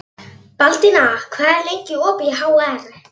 Baldína, hvað er lengi opið í HR?